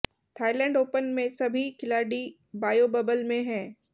Thailand Open में सभी खिलाड़ी बायो बबल में हैं